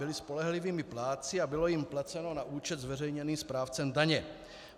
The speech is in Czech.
Byly spolehlivými plátci a bylo jim placeno na účet zveřejněný správcem daně.